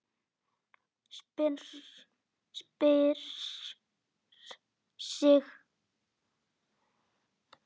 Sperrir sig.